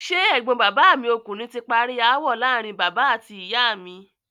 Ṣé ẹ̀gbọ́n bàbá mi ọkùnrin ti parí ááwọ̀ láàárín bàbá àti ìyá mi?